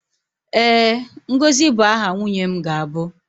ee, ngozi bụ aha nwunye m ga-abụ.